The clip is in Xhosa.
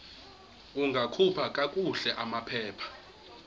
ungakhupha kakuhle amaphepha